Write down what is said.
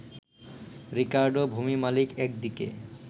Ricardo, ভূমি মালিক একদিকে